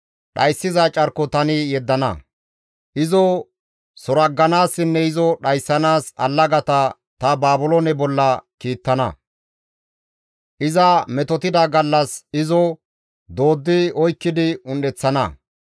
Izo suragganaassinne izo dhayssanaas allagata ta Baabiloone bolla kiittana; iza metotida gallas izo dooddi oykkidi un7eththana.